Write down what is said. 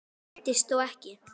Óttist þó ekki.